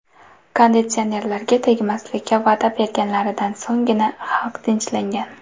Konditsionerlarga tegmaslikka va’da berganlaridan so‘nggina xalq tinchlangan.